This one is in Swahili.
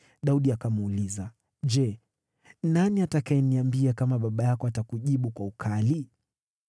Daudi akamuuliza, “Je, nani atakayeniambia kama baba yako atakujibu kwa ukali?”